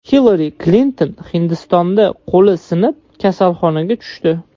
Hillari Klinton Hindistonda qo‘li sinib, kasalxonaga tushdi.